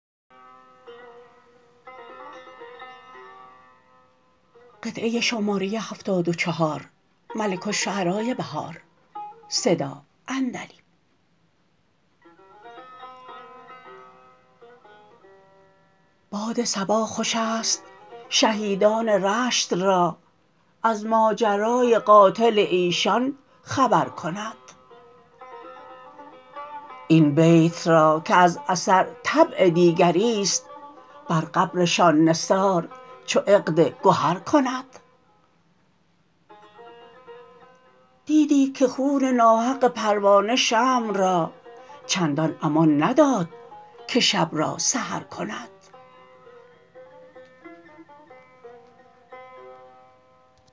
باد صبا خوش است شهیدان رشت را از ماجرای قاتل ایشان خبرکند این بیت را که از اثر طبع دیگریست بر قبرشان نثار چو عقد گهرکند دیدی که خون ناحق پروانه شمع را چندان امان نداد که شب را سحرکند